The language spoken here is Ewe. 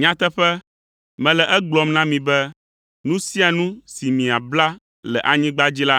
“Nyateƒe, mele egblɔm na mi be nu sia nu si miabla le anyigba dzi la